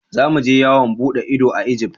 za mu je yawon bude ido a Egypt.